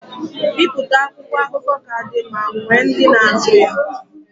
Bipụta akwụkwọ akụkọ ka dị ma nwee ndị na-azụ ya.